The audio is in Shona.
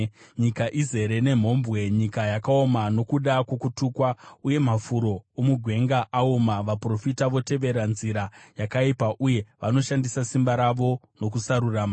Nyika izere nemhombwe; nyika yaoma nokuda kwokutukwa uye mafuro omugwenga aoma. Vaprofita votevera nzira yakaipa uye vanoshandisa simba ravo nokusarurama.